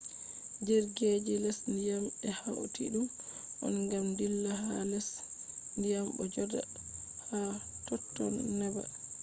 jirgi je les dyam be hauti dum on gam dilla ha les dyam bo joda ha totton neba